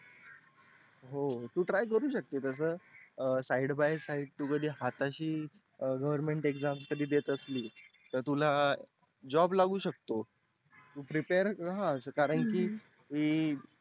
हो तू Try करू शकते side by side हाताशी government exam कधी देत असली तर तुला job लागू शकतो तू prepare रहा कारण की